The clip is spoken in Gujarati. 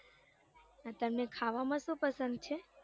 અને તમને ખાવામાં શું પસંદ છે.